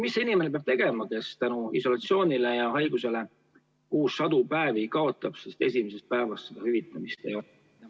Mida see inimene peab tegema, kes isolatsiooni ja haiguse tõttu kuus sadu eurosid kaotab, sest esimesest päevast hüvitamist ei ole?